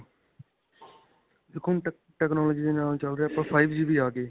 ਦੇਖੋ ਹੁਣ tech technology ਦੇ ਨਾਲ ਚੱਲ ਰਹੇ ਹਾਂ ਆਪਾਂ five G ਵੀ ਆ ਗਏ .